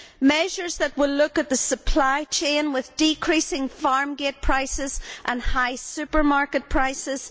measures that will address the supply chain with its decreasing farm gate prices and high supermarket prices